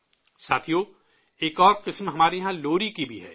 ساتھیو، ایک اور فن ہمارے یہاں لوری کا بھی ہے